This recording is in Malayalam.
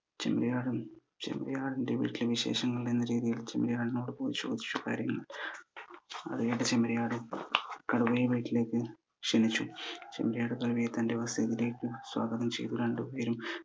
ചെമ്മരിയാടും ചെമ്മരിയാടിന്റെ വീട്ടിലെ വിശേഷങ്ങൾ എന്ന രീതിയിൽ ചെമ്മരിയാടിനോട് പോയി ചോദിച്ചു കാര്യങ്ങൾ അത് കേട്ട ചെമ്മരിയാട് കടുവയെ വീട്ടിലേക്ക് ക്ഷണിച്ചു ചെമ്മരിയാട് കടുവയെ തന്റെ സ്വാഗതം ചെയ്തു രണ്ട് പേരും